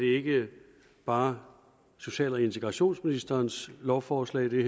ikke bare social og integrationsministerens lovforslag det